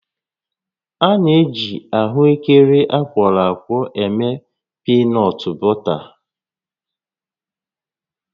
A na-eji ahụekere akwọrọ akwọ eme piinọt bọta